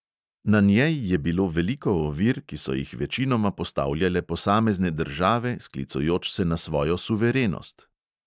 Na njej je bilo veliko ovir, ki so jih večinoma postavljale posamezne države, sklicujoč se na svojo suverenost.